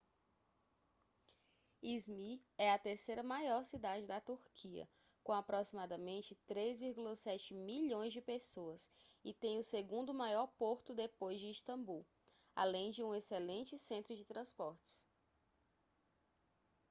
izmir é a terceira maior cidade da turquia com aproximadamente 3,7 milhões de pessoas e tem o segundo maior porto depois de istambul além de um excelente centro de transportes